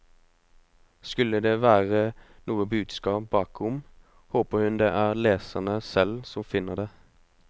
Skulle det være noe budskap bakom, håper hun det er leserne selv som finner det.